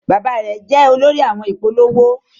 Bàbá rẹ jẹ olórí àwọn ìpolówó.